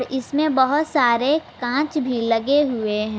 इसमें बहुत सारे कांच भी लगे हुए हैं।